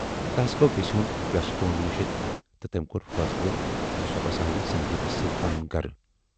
تَس گَو وٮ۪سہِ ہُند وٮ۪ستون مٔشِتھ تہٕ تمٔۍ کور فٲصلہٕ زِ سۅ بساوِ سندیٖپس سٍتۍ پنُن گرٕ۔